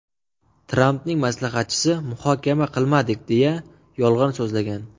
Trampning maslahatchisi muhokama qilmadik, deya yolg‘on so‘zlagan.